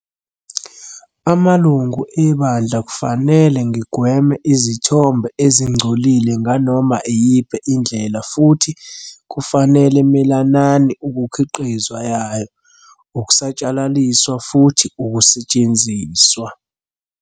Amalungu eBandla kufanele ngigweme izithombe ezingcolile nganoma iyiphi indlela futhi kufanele melanani ukukhiqizwa yayo, ukusatshalaliswa, futhi ukusetshenziswa.